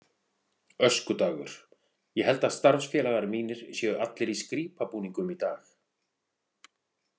Öskudagur Ég held að starfsfélagar mínir séu allir í skrípabúningum í dag.